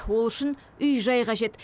ол үшін үй жай қажет